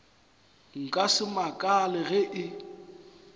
nka se makale ge e